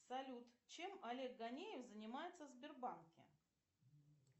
салют чем олег ганеев занимается в сбербанке